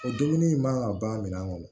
O dumuni in man ka ban min kɔnɔ